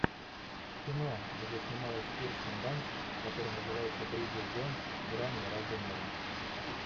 кино где снималась кирстен данст которое называется бриджит джонс грани разумного